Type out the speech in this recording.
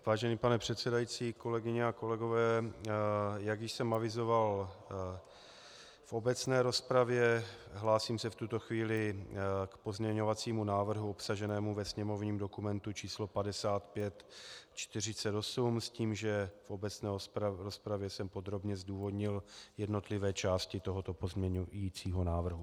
Vážený pane předsedající, kolegyně a kolegové, jak již jsem avizoval v obecné rozpravě, hlásím se v tuto chvíli k pozměňovacímu návrhu obsaženému ve sněmovním dokumentu číslo 5548 s tím, že v obecné rozpravě jsem podrobně zdůvodnil jednotlivé části tohoto pozměňovacího návrhu.